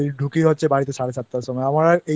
বেলায় বেরই আর ঢুকি হচ্ছে বাড়িতে সাড়ে সাতটার সময়